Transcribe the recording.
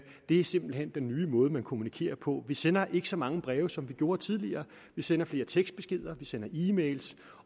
det er simpelt hen den nye måde vi kommunikerer på vi sender ikke så mange breve som vi gjorde tidligere vi sender flere tekstbeskeder vi sender e mails